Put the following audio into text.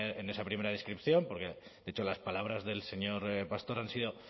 en esa primera descripción porque de hecho las palabras del señor pastor han sido